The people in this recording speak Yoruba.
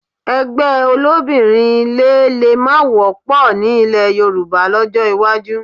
Ẹgbẹ́ olóbìnrin ilé lè má wọ́pọ̀ ní ilẹ̀ Yorùbá lọ́jọ́ iwájú